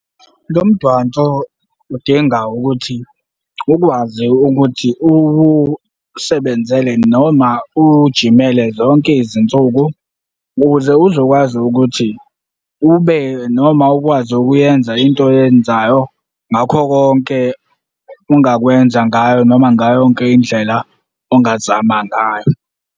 Lo mdanso udinga ukuthi ukwazi ukuthi uwusebenzele noma uwujimele zonke izinsuku ukuze uzokwazi ukuthi ube noma ukwazi ukuyenza into oyenzayo ngakho konke ongakwenza ngayo noma ngayo yonke indlela ongazama ngayo.